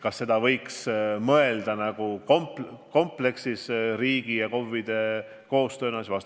Kas selle võiks teostada riigi ja KOV-ide koostööna?